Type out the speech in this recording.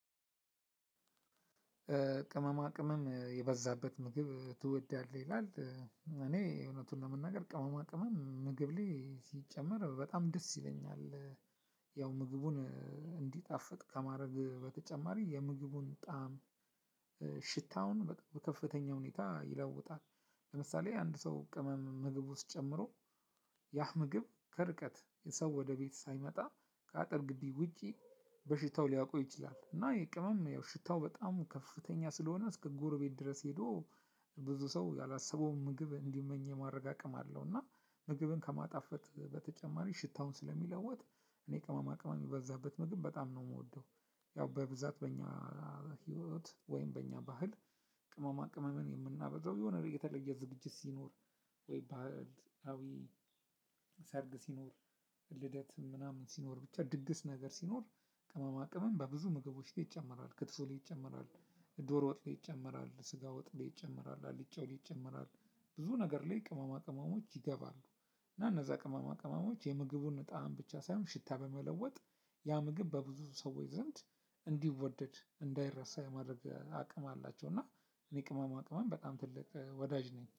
ቅመማ ቅመም የበዛበት ምግብ ትወዳለህ ይላል? እኔ እውነቱን ለመናገር ቅመማ ቅመም ምግብ ላይ ሲጨመር በጣም ደስ ይለኛል። ያው ምግቡን እንዲጣፍጥ ከማድረግ በተጨማሪ የምግቡን ጣዕም ሽታውን በቃ በከፍተኛ ሁኔታ ይለውጣል። ለምሳሌ አንድ ሰው ቅመም ምግብ ውስጥ ጨምሮ ያህ ምግብ ከርቀት የሰው ወደ ቤት ሳይመጣ ከአጥር ግቢ ውጪ በሽታው ሊያቆይ ይችላል። እና የቅመም ያው ሽታው በጣም ከፍተኛ ስለሆነ እስከ ጎረቤት ድረስ ሄዶ ብዙ ሰው ያላሰበውን ምግብ እንዲመኝ የማረጋገጥ አቅም አለው። እና ምግብን ከማጣፈጥ በተጨማሪ ሽታውን ስለሚለወጥ። እኔ ቅማማ ቅማም የሚበዛበት ምግብ በጣም ነው የምወደው። ያው በብዛት በእኛ ህይወት ወይም በእኛ ባህል ቅመማ ቅመምን የምናበዛው የሆነ የተለየ ዝግጅት ሲኖር። ወይ ባህል አዊ ሰርግ ሲኖር ልደት ምናምን ሲኖር ብቻ ድግስ ነገር ሲኖር። ቅመማ ቅመም በብዙ ምግቦች ላይ ይጨመራል ክትፎ ላይ ይጨመራል። ዶር ወጥ ላይ ይጨመራል ስጋ ወጥ ላይ ይጨመራል አልጫው ላይ ይጨመራል። ብዙ ነገር ላይ ቅማማ ቅመሞች ይገባሉ። እና እነዛ ቅመማ ቅመሞች የምግቡን ጣዕም ብቻ ሳይሆን ሽታ በመለወጥ ያ ምግብ በብዙ ሰዎች ዘንድ እንዲወደድ እንዳይረሳ የማድረግ አቅም አላቸው። እና እኔ ቅመማ ቅመም በጣም ትልቅ ወዳጅ ነኝ